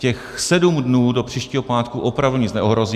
Těch sedm dnů do příštího pátku opravdu nic neohrozí.